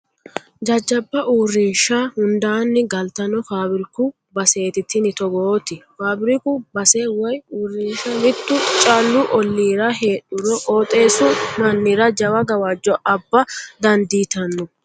Jajjabba uurrinsha hundanni galtano faabbiriku baseti tini togooti faabiriku base woyi uurrinsha mitu callu ollira heedburo qooxeessu mannira jawa gawajo abba dandiittano.